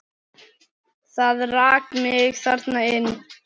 Það rak mig þarna inn.